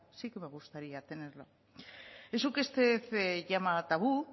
sí que me gustaría tenerlo eso que este usted llama tabú